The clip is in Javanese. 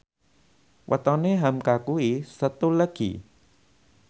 wetone hamka kuwi Setu Legi